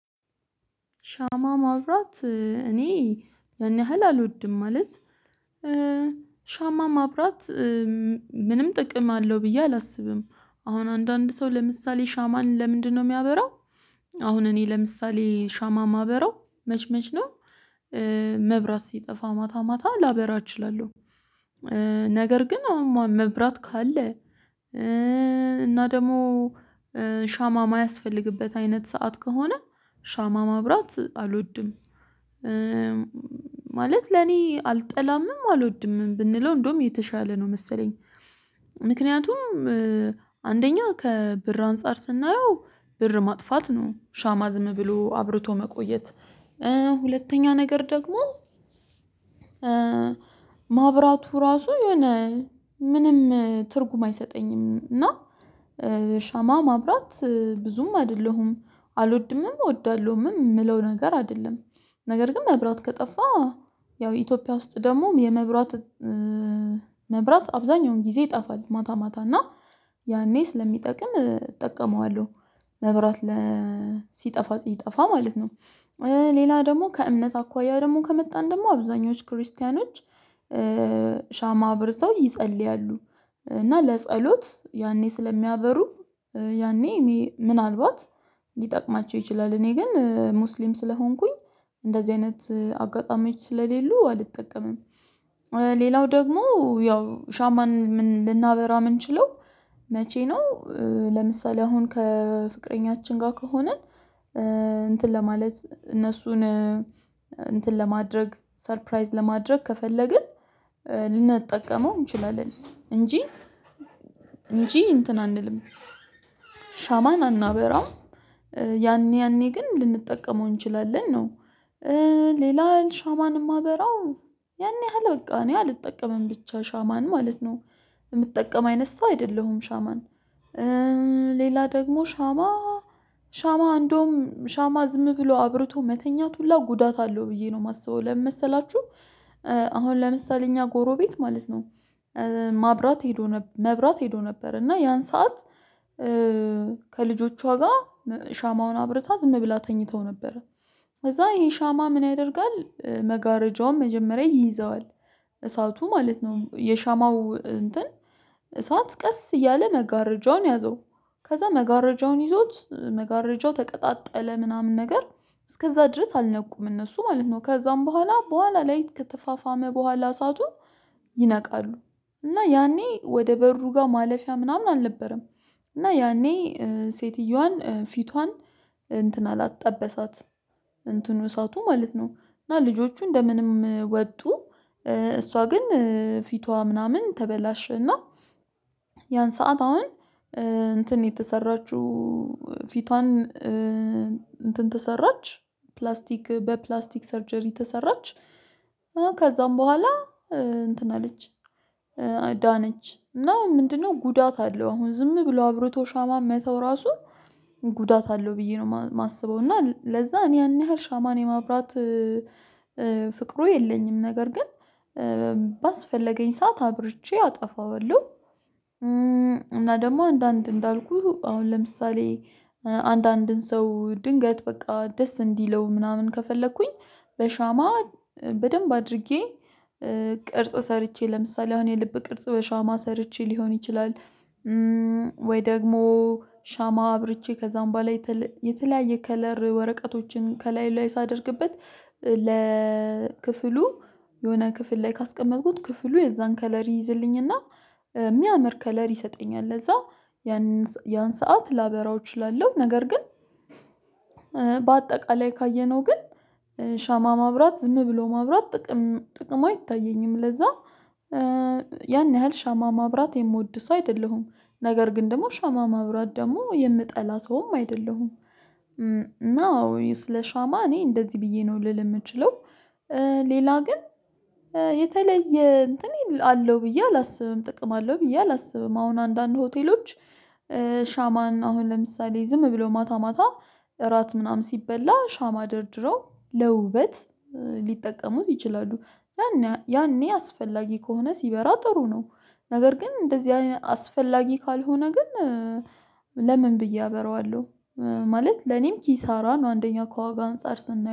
ሻማ ማብራት ያን ያህል አልወድም ማለት። ሻማ ማብራት ምንም ጥቅም አለው ብዬ አላስብም አሁን አንዳንድ ሰው ለምሳሌ ሻማን ለምንድነው የሚያበራው? አሁን እኔ ለምሳሌ ሻማ የማበራው መችመች ነው መብራት ሲጠፋ ማታ ማታ ላበራ እችላለሁ። ነገር ግን አሁን መብራት ካለ እና ደግሞ ሻማ የማያስፈልግበት አይነት ሰዓት ከሆነ ሻማ ማብራት አልወድም። ማለት ለኔ አልጠላምም አልወድምም ብንለው እንደውም የተሻለ ነው መሰለኝ። ምክንያቱም አንደኛ ከብር አንፃር ስናየው ብር ማጥፋት ነው ሻማ ዝም ብሎ አብርቶ መቆየት። ሁለተኛ ነገር ደግሞ ማብራቱ ራሱ የሆነ ምንም ትርጉም አይሰጠኝም እና ሻማ ማብራት ብዙም አይደለሁም። አልወድምም እወዳለሁምም የምለው ነገር አይደለም። ነገር ግን መብራት ከጠፋ ያው ኢትዮጵያ ውስጥ ደግሞ የመብራት መብራት አብዛኛውን ጊዜ ይጠፋል ማታ ማታ እና ያኔ ስለሚጠቅም እጠቀመዋለሁ መብራት መብራት ለ ሲጠፋ ሲጠፋ ማለት ነው። ሌላ ደግሞ ከእምነት አኳያ ደግሞ ከመጣን ደግሞ አብዛኞቹ ክርስቲያኖች ሻማ አብርተው ይጸልያሉ። እና ለጸሎት ያኔ ስለሚያበሩ ያኔ ምናልባት ሊጠቅማቸው ይችላል እኔ ግን ሙስሊም ስለሆንኩኝ እንደዚህ አይነት አጋጣሚዎች ስለሌሉ አልጠቀምም። ሌላው ደግሞ ያው ሻማን ምን ልናበራ ምንችለው? መቼ ነው? ለምሳሌ አሁን ከፍቅረኛችን ጋር ከሆንን እንትን ለማለት እነሱን እንትን ለማድረግ ሰርፕራይዝ ለማድረግ ከፈለግን ልንጠቀመው እንችላለን እንጂ እንጂ እንትን አንልም ሻማን አናበራም ያኔ ያኔ ግን ልንጠቀመው እንችላለን ነው። ሌላ ሻማን የማበራው ያን ያህል በቃ እኔ አልጠቀምም ብቻ ሻማን ማለት ነው የምትጠቀም አይነት ሰው አይደለሁም ሻማን። ሌላ ደግሞ ሻማ ሻማ እንደውም ሻማ ዝም ብሎ አብርቶ መተኛት ሁላ ጉዳት አለው ብዬ ነው የማስበው ለምን መሰላችሁ? አሁን ለምሳሌ እኛ ጎሮቤት ማለት ነው ማብራት ሄዶ መብራት ሄዶ ነበር እና ያን ሰዓት ከልጆቿ ጋር ሻማውን አብረታ ዝም ብላ ተኝተው ነበር። ከዛ ይሄ ሻማ ምን ያደርጋል መጋረጃውን መጀመሪያ ይይዘዋል? እሳቱ ማለት ነው የሻማው እንትን እሳት ቀስ እያለ መጋረጃውን ያዘው ከዛ መጋረጃውን ይዞት መጋረጃው ተቀጣጠለ ምናምን ነገር እስከዛ ድረስ አልነቁም እነሱ ማለት ነው ከዛም በኋላ በኋላ ላይ ከተፋፋመ በኋላ እሳቱ ይነቃሉ። እና ያኔ ወደ በሩ ጋር ማለፊያ ምናምን አልነበረም። እና ያኔ ሴትየዋን ፊቷን እንትን ጠበሳትም እንትኑ እሳቱ ማለት ነው እና ልጆቹ እንደምንም ወጡ። እሷ ግን ፊቷ ምናምን ተበላሸና ያን ሰዓት አሁን እንትን የተሰራችው ፊቷን እንትን ተሰራች ፕላስቲክ በፕላስቲክ ሰርጀሪ ተሰራች ከዛም በኋላ እንትን አለች። ዳነች እና ምንድነው ጉዳት አለው አሁን ዝም ብሎ አብርቶ ሻማ መተው ራሱ ጉዳት አለው ብዬ ነው የማስበው። እና ለዛ እኔ ያን ያህል ሻማን የማብራት ፍቅሩ የለኝም ነገር ግን ባስፈለገኝ ሰዓት አብርቼ አጠፋዋለሁ። እና ደግሞ አንዳንድ እንዳልኩህ አሁን ለምሳሌ አንዳንድን ሰው ድንገት በቃ ደስ እንዲለው ምናምን ከፈለኩኝ በሻማ በደንብ አድርጌ ቅርጽ ሰርቼ ለምሳሌ አሁን የልብ ቅርጽ በሻማ ሰርቼ ሊሆን ይችላል። ወይ ደግሞ ሻማ አብርቼ ከዛም በኋላ የተለያየ ከለር ወረቀቶችን ከላይ ላይ ሳደርግበት ለክፍሉ የሆነ ክፍል ላይ ካስቀመጥኩት ክፍሉ የዛን ከለር ይይዝልኝና የሚያምር ከለር ይሰጠኛል ለዛ ያን ያን ሰዓት ላበራው እችላለሁ። ነገር ግን በአጠቃላይ ካየነው ግን ሻማ ማብራት ዝም ብሎ ማብራት ጥቅም ጥቅም አይታየኝም ለዛ ያን ያህል ሻማ ማብራት የምወድ ሰው አይደለሁም። ነገር ግን ደግሞ ሻማ ማብራት ደግሞ የምጠላ ሰውም አይደለሁም። እና ወይ ስለ ሻማ እኔ እንደዚህ ብዬ ነው ልል የምችለው ሌላ ግን የተለየ እንትን አለው ብዬ አላስብም ጥቅም አለው ብዬ አላስብም። አሁን አንዳንድ ሆቴሎች ሻማን አሁን ለምሳሌ ዝም ብሎ ማታ ማታ እራት ምናምን ሲበላ ሻማ ደርድረው ለውበት ሊጠቀሙት ይችላሉ። ያኔ አስፈላጊ ከሆነ ሲበራ ጥሩ ነው። ነገር ግን እንደዚህ አስፈላጊ ካልሆነ ግን ለምን ብዬ አበረዋለሁ? ማለት ለኔም ኪሳራን አንደኛ ከዋጋ አንፃር ስናየው